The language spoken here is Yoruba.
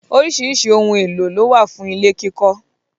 Oríṣiríṣi ohun -èlò ló wà fún ilé kíkọ́.